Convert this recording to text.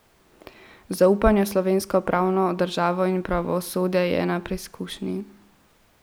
Zaupanje v slovensko pravno državo in pravosodje je na preizkušnji.